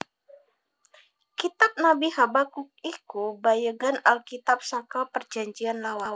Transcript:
Kitab Nabi Habakuk iku bagéyan Alkitab saka Prajanjian Lawas